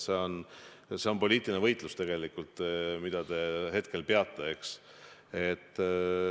See on tegelikult poliitiline võitlus, mida te hetkel peate, eks.